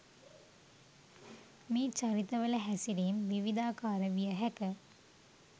මේ චරිතවල හැසිරීම් විවිධාකාර විය හැක